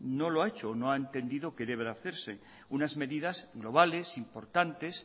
no lo ha hecho o no ha entendido que debe de hacerse unas medidas globales importantes